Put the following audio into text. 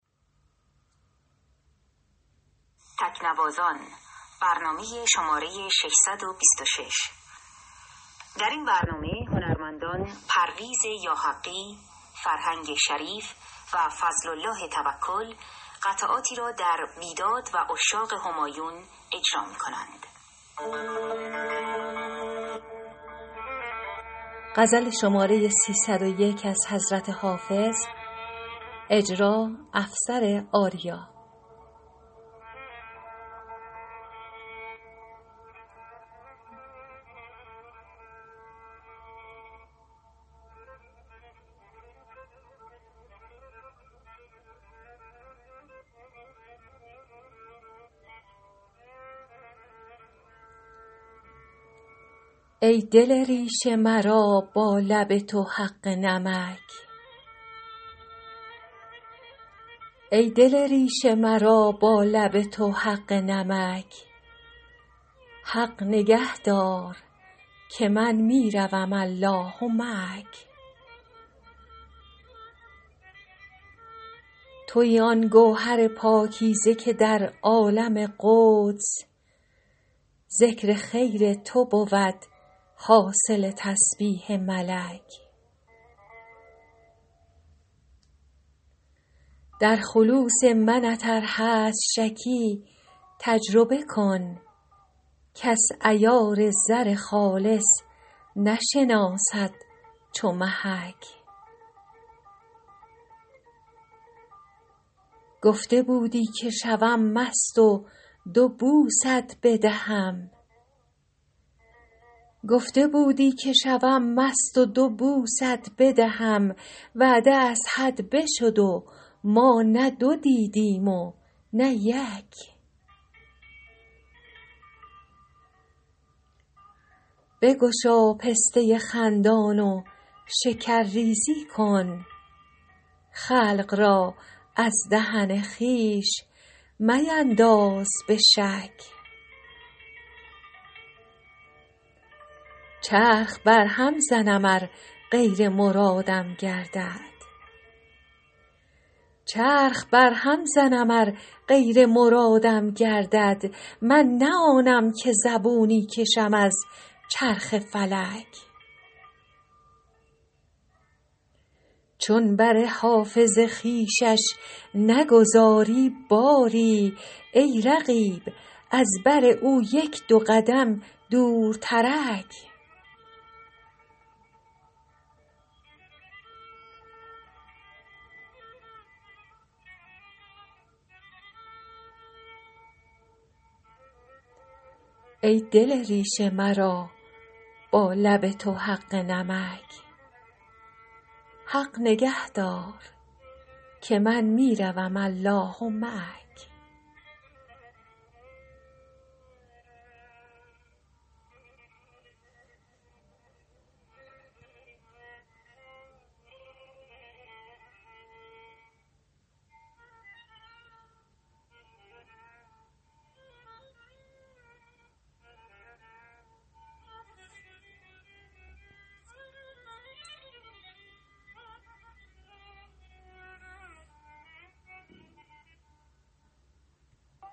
ای دل ریش مرا با لب تو حق نمک حق نگه دار که من می روم الله معک تویی آن گوهر پاکیزه که در عالم قدس ذکر خیر تو بود حاصل تسبیح ملک در خلوص منت ار هست شکی تجربه کن کس عیار زر خالص نشناسد چو محک گفته بودی که شوم مست و دو بوست بدهم وعده از حد بشد و ما نه دو دیدیم و نه یک بگشا پسته خندان و شکرریزی کن خلق را از دهن خویش مینداز به شک چرخ برهم زنم ار غیر مرادم گردد من نه آنم که زبونی کشم از چرخ فلک چون بر حافظ خویشش نگذاری باری ای رقیب از بر او یک دو قدم دورترک